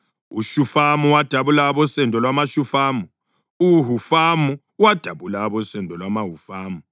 uShufamu wadabula abosendo lwamaShufamu; uHufamu wadabula usendo lwamaHufamu